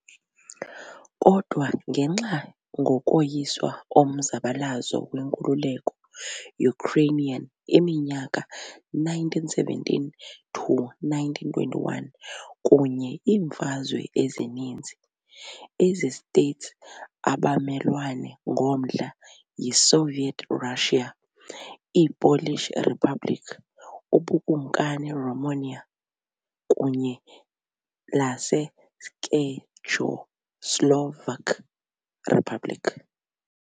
Kodwa ngenxa ngokoyiswa omzabalazo wenkululeko Ukrainian iminyaka 1917-1921 kunye iimfazwe ezininzi, ezi States abamelwane ngomdla yiSoviet Russia, iiPolish Republic, ubukumkani Romania kunye laseCzechoslovak Republic.